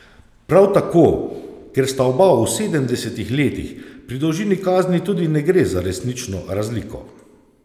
Prav tako, ker sta oba v sedemdesetih letih, pri dolžini kazni tudi ne gre za resnično razliko.